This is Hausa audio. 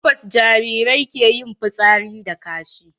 a pampas Jarirai ke yin fitsari da kashi